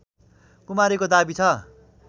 कुमारीको दाबी छ